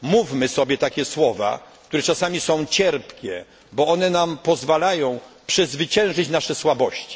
Mówmy sobie takie słowa, które są czasami cierpkie, bo one nam pozwalają przezwyciężyć nasze słabości.